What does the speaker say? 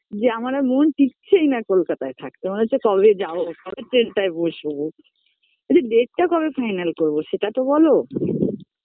যে আমার আর মন টিকছেই না কলকাতায় থাকতে মনে হচ্ছে কবে যাব কবে train -টায় বসবো আরে date -টা কবে final করবো সেটা তো বলো BREATH